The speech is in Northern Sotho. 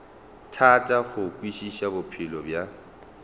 thata go kwešiša bophelo bja